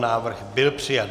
Návrh byl přijat.